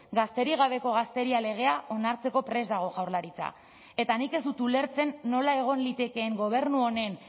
gazterik gabeko gazteria legea onartzeko prest dago jaurlaritza eta nik ez dut ulertzen nola egon litekeen gobernu honen